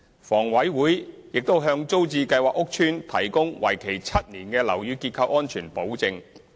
房委會並向租置計劃屋邨提供為期7年的樓宇結構安全保證。